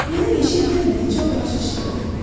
Mənə yeşik verməklə çox yaxşı iş gördün.